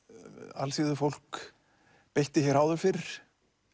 alþýðufólk beitti hér áður fyrr